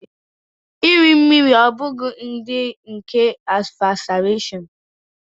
Iri mmiri ọ́ bụghị ụdị nke asphyxiation?